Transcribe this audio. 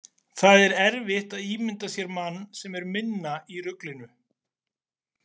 Það er erfitt að ímynda sér mann sem er minna í ruglinu.